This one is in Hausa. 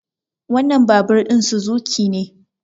wannan babur ɗin Suzuki ne